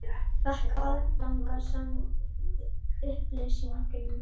Fékk aðgang samkvæmt upplýsingalögum